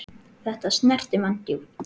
Þetta snerti mann djúpt.